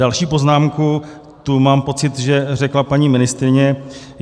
Další poznámku, tu mám pocit, že řekla paní ministryně.